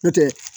N'o tɛ